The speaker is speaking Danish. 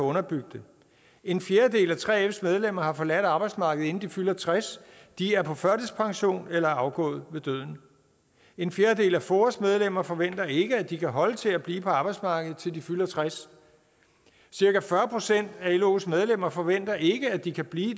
underbygge det en fjerdedel af 3fs medlemmer har forladt arbejdsmarkedet inden de fylder tres de er på førtidspension eller er afgået ved døden en fjerdedel af foas medlemmer forventer ikke at de kan holde til at blive på arbejdsmarkedet til de fylder tres cirka fyrre procent af los medlemmer forventer ikke at de kan blive i